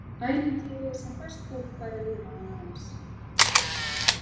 Ævintýri sem fæst fólk fær að lifa annað eins.